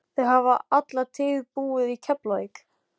Þau hafa alla tíð búið í Keflavík.